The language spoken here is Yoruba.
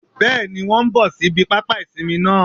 Bẹ́ẹ̀ni wón n bò síbi pápá ìsinmi náà